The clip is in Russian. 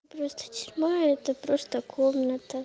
просто тюрьма это просто комната